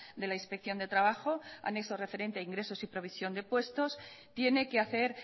de la inspección de trabajo anexo referente a ingresos y provisión de puestos tiene que hacer